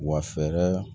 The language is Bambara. Wa fɛɛrɛ